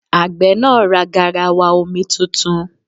Àgbẹ̀ náà ra garawa omi tuntun.